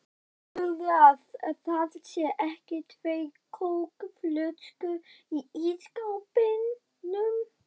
HELDURÐU AÐ ÞAÐ SÉU EKKI TVÆR KÓKFLÖSKUR Í ÍSSKÁPNUM!